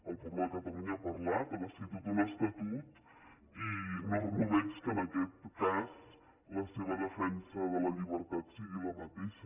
el poble de cata·lunya ha parlat ha decidit tot un estatut i no veig que en aquest cas la seva defensa de la llibertat sigui la mateixa